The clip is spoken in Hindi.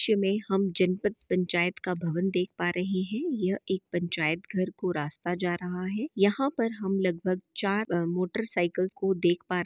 दृश्य में हम जनपत पंचायत का भवन देख पा रहे हैं यह एक पंचायत घर को रास्ता जा रहा हैं यहाँ पर हम लगभग चार मोटर साइकिल्स को देख पा--